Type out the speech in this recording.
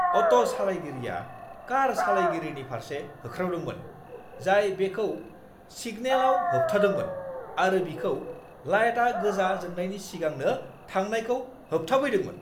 Auto सालाइगिरिआ car सालाइगिरिनि फारसे होख्रावदोंमोन जाय बेखौ सिगनालाव होबथादोंमोन आरो बिखौ लाइटआ गोजा जोंनायनि सिगांनो थांनायखौ होबथाफैदोंमोन।